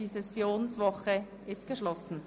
Die Sessionswoche ist geschlossen.